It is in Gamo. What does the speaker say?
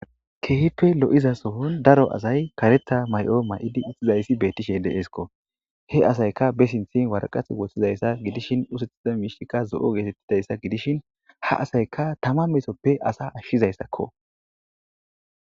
keehippe lo7iza sohon daro asay karetha may7o may7idi ixxizayssi bettishe deeesko he asayka besinthin warqat woththizayssa gidishin usethiza miishtikka zo7o geetettidayssa gidishin ha asayka tama meesoppe asa ashshizayssakko